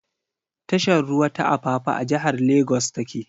Tashar ruwa ta Apapa a jihar Lagos ta ke.